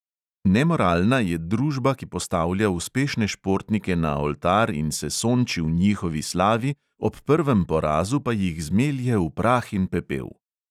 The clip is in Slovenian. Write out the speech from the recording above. Nemoralna je družba, ki postavlja uspešne športnike na oltar in se sonči v njihovi slavi, ob prvem porazu pa jih zmelje v prah in pepel.